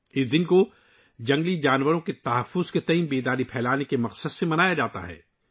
یہ دن جنگلی جانوروں کے تحفظ کے بارے میں بیداری پھیلانے کے مقصد سے منایا جاتا ہے